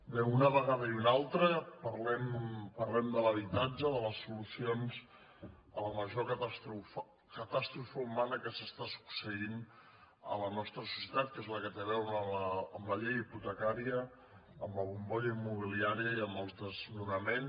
bé una vegada i una altra parlem de l’ha·bitatge de les solucions a la major catàstrofe humana que està succeint a la nostra societat que és la que té a veure amb la llei hipotecària amb la bombolla im·mobiliària i amb els desnonaments